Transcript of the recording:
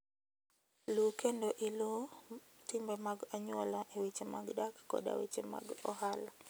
Luw kendo iluw timbe mag anyuola e weche mag dak koda weche mag ohala.